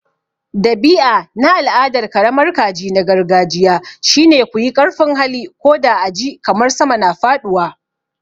Dabi'a na al'adar karamar kaji na gargajiya shine. ku yi ƙarfin hali, ko da a ji kamar sama na faɗuwa.